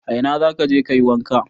A ina za ka je ka yi wanka?